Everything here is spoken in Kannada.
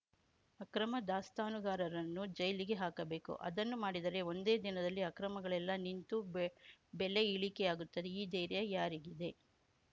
ಅಕ್ರಮ ದಾಸ್ತಾನುಗಾರರನ್ನು ಜೈಲಿಗೆ ಹಾಕಬೇಕು ಅದನ್ನು ಮಾಡಿದರೆ ಒಂದೇ ದಿನದಲ್ಲಿ ಅಕ್ರಮಗಳೆಲ್ಲ ನಿಂತು ಬೆಲೆ ಇಳಿಕೆಯಾಗುತ್ತದೆ ಈ ಧೈರ್ಯ ಯಾರಿಗಿದೆ